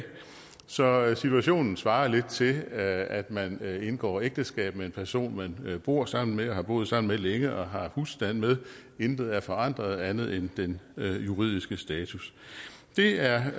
så situationen svarer lidt til at man indgår ægteskab med en person man bor sammen med og har boet sammen med længe og har husstand med intet er forandret andet end den juridiske status det er